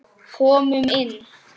Komum inn!